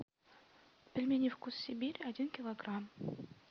пельмени вкус сибири один килограмм